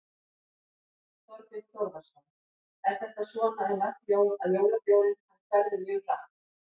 Þorbjörn Þórðarson: Er þetta svona um öll jól að jólabjórinn hann hverfur mjög hratt?